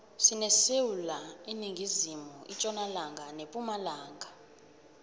sinesewula iningizimu itjonalanga nepumalanga